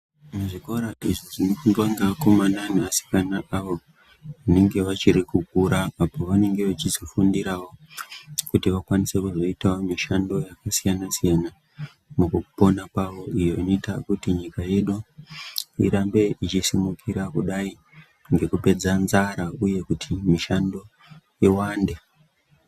Muzvikora izvi zvinofundwa ngevakomana nevasikana avo vanenge vachiri kukura apo vanenge vechizofindirawo kuti vakwanise kuzoitawo mishando yakasiyana siyana mukupona kwavo iyo inoitawo kuti nyika yedu irambe ichisimukira kudai ngekupedza nzara uye kiti mishando kuti iwande.